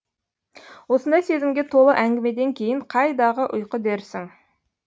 осындай сезімге толы әңгімеден кейін қайдағы ұйқы дерсің